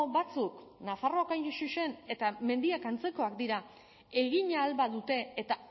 batzuk nafarroakoak hain zuzen eta mendiak antzekoak dira egin ahal badute eta